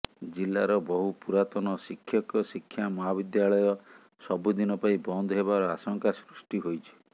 ଜିଲ୍ଲାର ବହୁ ପୁରାତନ ଶିକ୍ଷକ ଶିକ୍ଷା ମହାବିଦ୍ୟାଳୟ ସବୁଦିନ ପାଇଁ ବନ୍ଦ ହେବାର ଆଶଙ୍କା ସୃଷ୍ଟି ହୋଇଛି